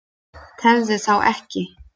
Tefðu þá ekki.